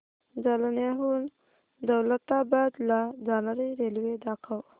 जालन्याहून दौलताबाद ला जाणारी रेल्वे दाखव